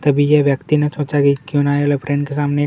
तब यह व्यक्ति ने सोचा कि क्यों न एरोप्लेन के सामने --